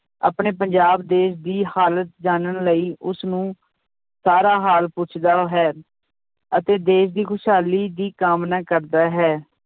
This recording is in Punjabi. ਆਪਣੇ ਪੰਜਾਬ ਦੇਸ ਦੀ ਹਾਲਤ ਜਾਨਣ ਲਈ ਉਸ ਨੂੰ ਸਾਰਾ ਹਾਲ ਪੁੱਛਦਾ ਹੈ ਅਤੇ ਦੇਸ ਦੀ ਖ਼ੁਸ਼ਹਾਲੀ ਦੀ ਕਾਮਨਾ ਕਰਦਾ ਹੈ।